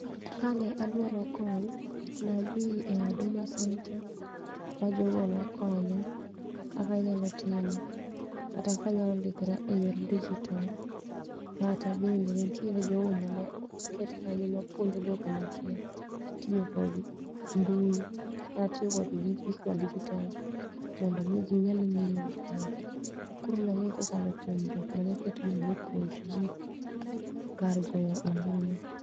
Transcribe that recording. Ka ne adwaro kony, nadhi e huduma centre, ma jogo nokonya kaka anyalo timo. Kata kaka anyalo ndikora e yor dijitol, kata bende ne nitiere jogo mano ket kanyo ma puonjo jogo ma kia tiyo kod mbui kata tiyo kod gik ma dijitol. Mondo mi ginyal ng'eyo gik moko, koro nang'e kokalo kuom jok manoket mondo mi opuonj ji kar goyo ombulu.